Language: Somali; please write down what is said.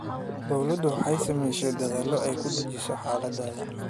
Dawladdu waxay samaysay dedaallo ay ku dejinayso xaaladda.